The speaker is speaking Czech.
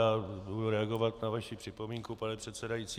Já budu reagovat na vaši připomínku, pane předsedající.